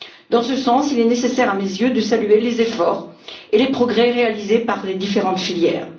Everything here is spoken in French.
Dans ce sens, il est nécessaire à mes yeux de saluer les efforts et les progrès réalisés par les différentes filières.